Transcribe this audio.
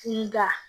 I da